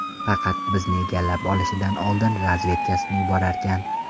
Faqat bizni egallab olishidan oldin razvedkasini yuborarkan.